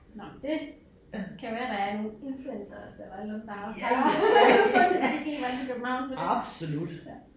Nåh det kan være der er nogle influenceres eller et eller andet der også har fundet så de skal hele vejen til København for det